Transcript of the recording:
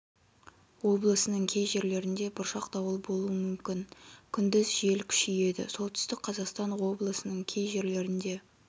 облысының кей жерлерінде бұршақ дауыл болуы мүмкін күндіз жел күшейеді солтүстік қазақстан облысының кей жерлерінде